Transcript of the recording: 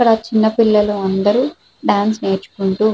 ఇక్కడ చిన్న పిల్లలు అందరూ డాన్స్ నేర్చుకుంటూ --